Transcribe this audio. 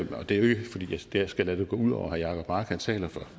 til og det er jo ikke fordi jeg skal lade det gå ud over herre jacob mark han taler for